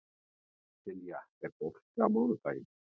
Silja, er bolti á mánudaginn?